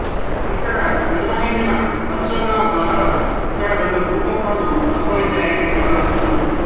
ఇక్కడ నిర్వహించిన పరిశోధనద్వారా ఇక్కడ రెండు భూకంపాలు సంభవించాయని భావిస్తున్నారు